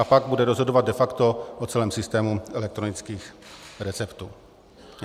A pak bude rozhodovat de facto o celém systému elektronických receptů.